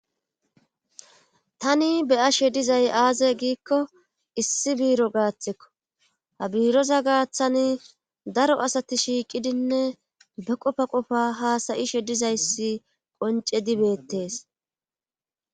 Tani beya she dizay aaze giikko issi biiro gaaththikko ha biiroza gaaththani daro asati shiiqidinne be qofa qofa haasayishe dizayssi qonce dibettees.